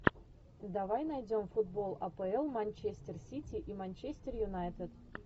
давай найдем футбол апл манчестер сити и манчестер юнайтед